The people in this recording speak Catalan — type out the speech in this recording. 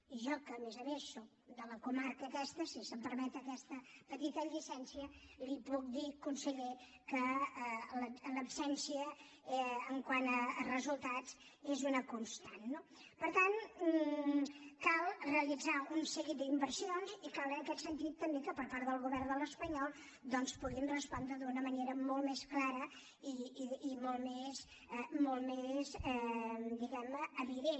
i jo que a més a més soc de la comarca aquesta si se’m permet aquesta petita llicència l’hi puc dir conseller que l’absència quant a resultats és una constant no per tant cal realitzar un seguit d’inversions i cal en aquest sentit també que per part del govern espanyol doncs puguin respondre d’una manera molt més clara i molt més diguem ne evident